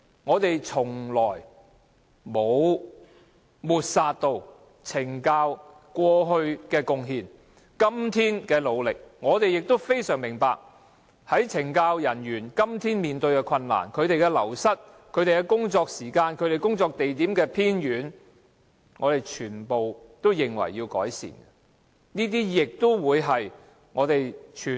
我們從來沒有抹煞懲教署過去的貢獻及今天的努力，我們亦非常明白懲教人員面對人員流失、工作時間長及工作地點偏遠等困難，我們認為全部都要改善。